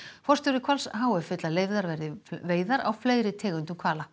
forstjóri Hvals h f vill að leyfðar verði veiðar á fleiri tegundum hvala